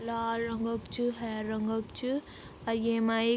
लाल रंग क च हेरू रंग क च अर येमा एक ।